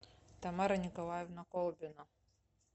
тамара николаевна колбина